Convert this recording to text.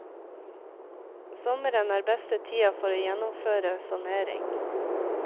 Sommeren er beste tida for å gjennomføre sanering.